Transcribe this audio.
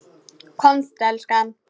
Komdu elskan!